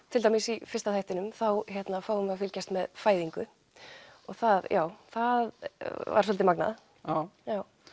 til dæmis í fyrsta þættinum þá fáum við að fylgjast með fæðingu og það já það var svolítið magnað já